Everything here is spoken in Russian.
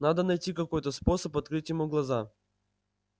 надо найти какой-то способ открыть ему глаза